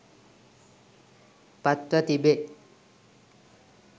පත්ව තිබේ